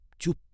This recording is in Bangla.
চুপ!